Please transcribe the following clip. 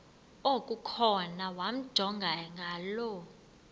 okukhona wamjongay ngaloo